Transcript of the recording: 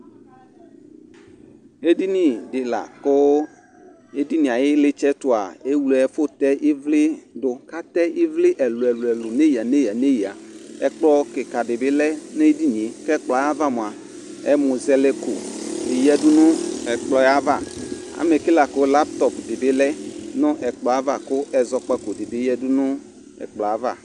Edini dɩ la kʋ edinie ay'ɩlɩtsɛɛtʋa , ewle ɛfʋ tɛ ɩvlɩ dʋ , k'atɛ ɩvlɩ ɛlʋɛlʋ n'eyǝ n'eyǝ Ɛkplɔ kɩkadɩ bɩ lɛ n'edinie , k'ɛkplɔɛ ava mʋa, ɛmʋzɛlɛko dɩ yǝdu nʋ ɛkplɔ yɛ ava Amɛke la kʋ laŋtɔpʋ dɩ bɩ lɛ nʋ ɛkplɔava kʋ ɛzɔkpako dɩ bɩ yǝdu nʋ ɛkplɔɛ ava